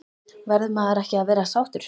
Verður maður ekki að vera sáttur?